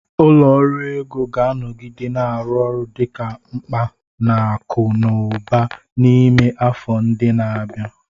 Ụlọ ọrụ ego ga-anọgide na-arụ ọrụ dị mkpa na akụ na ụba n'ime afọ ndị na-abịa.